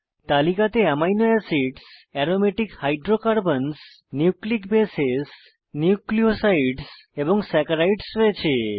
তালিকাকে amino acids aromatic হাইড্রোকার্বনসহ nucleic bases nucleosides এবং saccharides রয়েছে